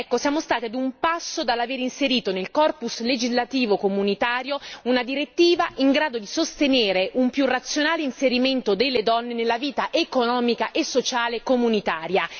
Siamo stati ad un passo dall'aver inserito nel corpus legislativo comunitario una direttiva in grado di sostenere un più razionale inserimento delle donne nella vita economica e sociale comunitaria.